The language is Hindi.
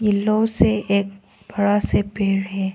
येलो से एक बड़ा से पेड़ है।